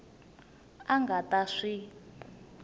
a a nga ta swi